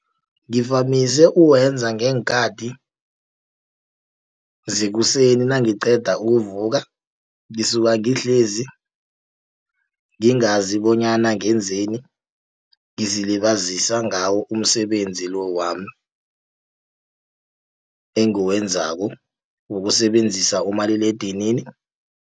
Ngivamise uwenza ngeenkhati zekuseni nangiqeda ukuvuka, ngisuka ngihlezi ngingazi bonyana ngenzeni. Ngizilibazisa ngawo umsebenzi lo wami, engiwenzako wokusebenzisa umaliledinini.